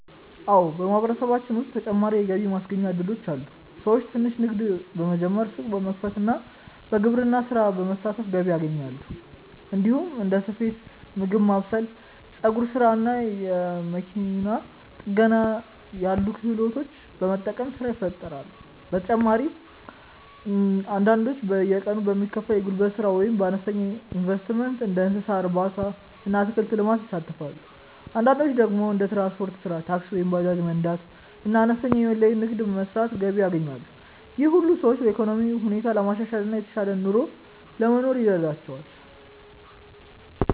አዎ፣ በማህበረሰባችን ውስጥ ተጨማሪ የገቢ ማስገኛ እድሎች አሉ። ሰዎች ትንሽ ንግድ በመጀመር፣ ሱቅ በመክፈት እና በግብርና ስራ በመሳተፍ ገቢ ያገኛሉ። እንዲሁም እንደ ስፌት፣ ምግብ ማብሰል፣ የፀጉር ስራ እና መኪና ጥገና ያሉ ክህሎቶችን በመጠቀም ስራ ይፈጥራሉ። በተጨማሪም አንዳንዶች በየቀኑ የሚከፈል የጉልበት ስራ ወይም በአነስተኛ ኢንቨስትመንት እንደ እንስሳ እርባታ እና አትክልት ልማት ይሳተፋሉ። አንዳንዶች ደግሞ እንደ ትራንስፖርት ስራ (ታክሲ ወይም ባጃጅ መንዳት) እና አነስተኛ የኦንላይን ንግድ በመስራት ገቢ ያገኛሉ። ይህ ሁሉ ሰዎች የኢኮኖሚ ሁኔታቸውን ለማሻሻል እና የተሻለ ኑሮ ለመኖር ይረዳቸዋል።